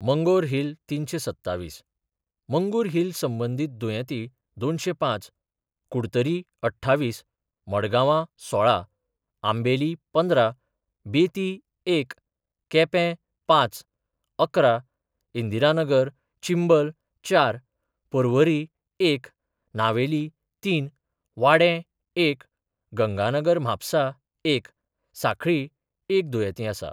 मंगोरहिल तीनशे सत्तावीस, मंगुरहिल संबंधित दुयेंती दोनशे पाच, कुडतरी अठ्ठावीस, मडगावा सोळा, आंबेली पंधरा, बेती एक, केपे पाच, अकरा, इंदिरानगर चिंबल चार, पर्वरी एक, नावेली तीन, वाडे एक, गंगानगर म्हापसा एक, साखळी एक दुयेती आसा.